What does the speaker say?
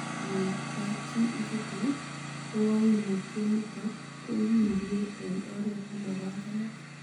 En kapchi ichuton, koimutioniton kokindie en oret nemapanganat.